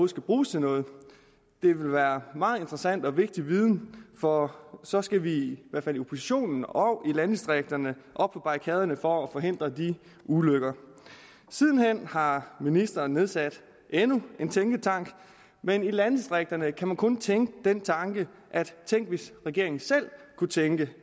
skal bruges til noget det vil være meget interessant og vigtig viden for så skal vi i hvert fald i oppositionen og i landdistrikterne op på barrikaderne for at forhindre de ulykker siden hen har ministeren nedsat endnu en tænketank men i landdistrikterne kan man kun tænke den tanke tænk hvis regeringen selv kunne tænke